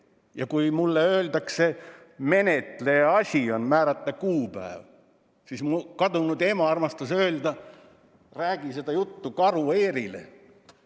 Ja kui mulle öeldakse, et menetleja asi on määrata kuupäev, siis tuleb mulle meelde, et mu kadunud ema armastas öelda: räägi seda juttu Karu Eerile.